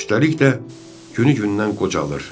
Üstəlik də günü gündən qocalır.